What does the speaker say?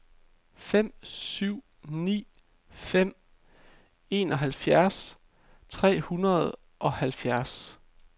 fem syv ni fem enoghalvfjerds tre hundrede og halvfjerds